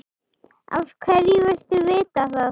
Af hverju viltu vita það?